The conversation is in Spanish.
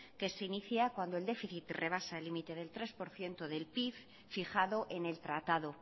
que se inicia cuando el déficit rebasa el límite del tres por ciento del pib fijado en el tratado